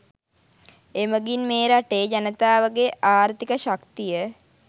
එමගින් මේ රටේ ජනතාවගේ ආර්ථික ශක්තිය